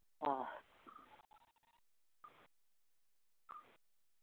ആഹ്